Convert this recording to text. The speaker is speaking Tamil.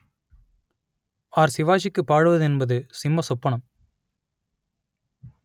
ஆர் சிவாஜிக்கு பாடுவது என்பது சிம்ம சொப்பனம்